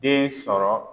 Den sɔrɔ